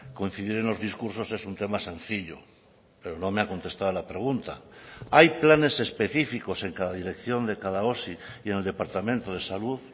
coincidir en los discursos es un tema sencillo pero no me ha contestado a la pregunta hay planes específicos en cada dirección de cada osi y en el departamento de salud